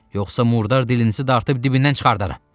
Yoxsa murdar dilinizi dartıb dibindən çıxardaram.